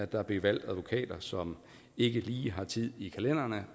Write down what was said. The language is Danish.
der bliver valgt advokater som ikke lige har tid i kalenderen og